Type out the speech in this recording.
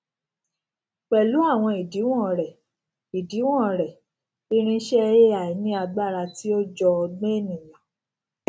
pẹlú àwọn ìdíwọn rẹ ìdíwọn rẹ irinṣẹ ai ní agbára tí ó jọ ọgbọn ènìyàn